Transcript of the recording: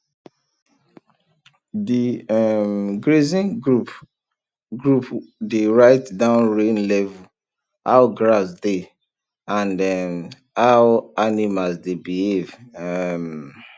the um grazing group group dey write down rain level how grass dey and um how animals dey behave um